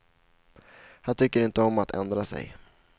Han tycker inte om att ändra sig.